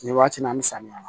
Nin waati nin na ni samiya